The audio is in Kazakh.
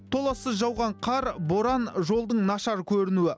толассыз жауған қар боран жолдың нашар көрінуі